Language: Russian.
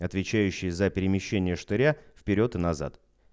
отвечающие за перемещение штыря вперёд и назад